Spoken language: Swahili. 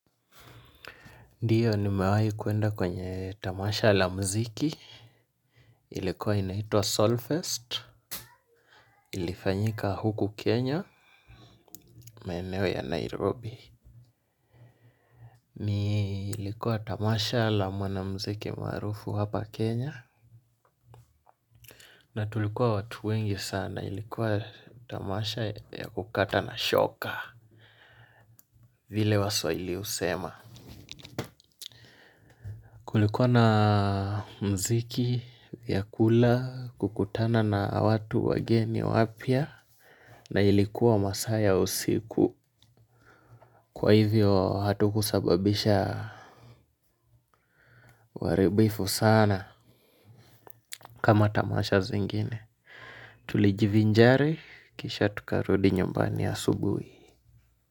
Ndiyo nimewai kwenda kwenye tamasha la muziki ilikuwa inaitwa soulfest ilifanyika huku Kenya maeneo ya Nairobi ni ilikuwa tamasha la mwana muziki maarufu hapa Kenya na tulikuwa watu wengi sana ilikuwa tamasha ya kukata na shoka vile waswahili husema kulikuwa na muziki ya kula kukutana na watu wageni wapya. Na ilikuwa masaa ya usiku. Kwa hivyo hatu kusababisha uharibifu sana kama tamasha zingine. Tulijivinjari kisha tukarudi nyumbani asubuhi.